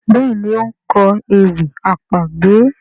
Béèni o nkọ ewì àpagbè.